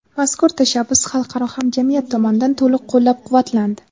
mazkur tashabbus xalqaro hamjamiyat tomonidan to‘liq qo‘llab-quvvatlandi.